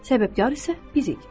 Səbəbkar isə bizik.